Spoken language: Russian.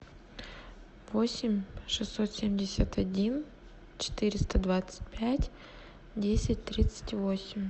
восемь шестьсот семьдесят один четыреста двадцать пять десять тридцать восемь